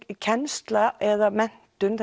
kennsla eða menntun